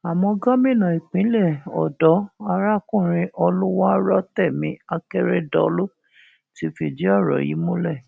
àmọ gómìnà ìpínlẹ ọdọ arákùnrin olùwárọtẹmi akérèdọlù ti fìdí ọrọ yìí múlẹ